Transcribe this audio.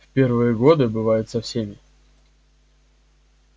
в первые годы бывает со всеми